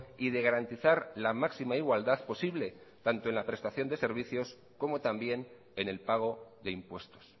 y de garantizar la máxima igualdad posible tanto en la prestación de servicios como también en el pago de impuestos